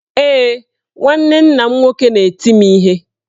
Ee, nwanne nna m nwoke na-eti m ihe.